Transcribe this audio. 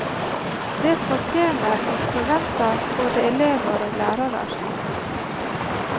Det fortener og forventar både elevar og lærarar.